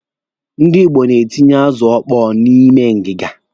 Ndị Igbo na-etinye azụ ọkpọọ n'ime ngiga.